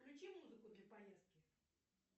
включи музыку для поездки